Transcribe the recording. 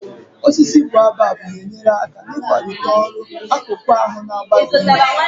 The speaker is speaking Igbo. Osisi boabab na-enyere aka n'ikwalite ọrụ akụkụ ahụ na-agbari nri